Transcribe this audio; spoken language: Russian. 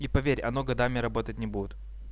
и поверь оно годами работать не будет